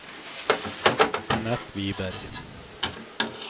Anette Wiberg